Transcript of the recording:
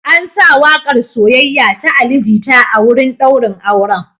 An sa waƙar “Soyayya” ta Ali Jita a wurin ɗaurin auren.